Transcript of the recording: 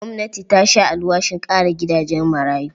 Gwamnati ta sha alwashin ƙara gidajen marayu.